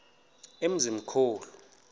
emzimkhulu